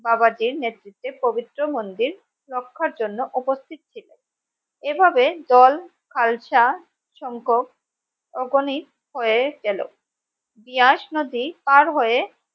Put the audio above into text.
বাবাজীর নেতৃত্বে পবিত্র মন্দির রক্ষার জন্য উপস্থিত ছিলেন এভাবে দল খালসা সংখক অগণিত হয়ে গেলো দিয়াস নদী পার হয়ে